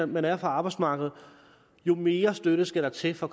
man er fra arbejdsmarkedet jo mere støtte skal der til for